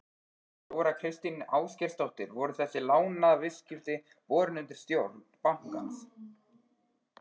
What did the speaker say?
Þóra Kristín Ásgeirsdóttir: Voru þessi lánaviðskipti borin undir stjórn bankans?